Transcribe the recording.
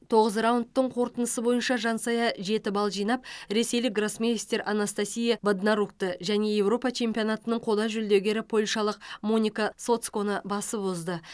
тоғыз раундтың қорытындысы бойынша жансая жеті балл жинап ресейлік гроссмейстер анастасия боднарукті және еуропа чемпионатының қола жүлдегері польшалық моника соцконы басып озды